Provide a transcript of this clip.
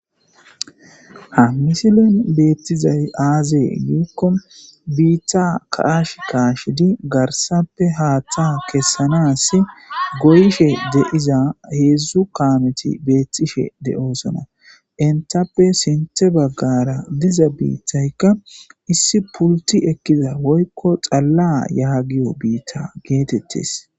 Ha misilen beettizay aazee giikko biitta kaash kaashidi garsappe haaththa kessanas goyishe deiza heedzdzu kaameti beettishe de7osona intappe sinthe baggara diza biittaykka issi pulti ekkiya woykko xalla yaagiyo biitta geetettes.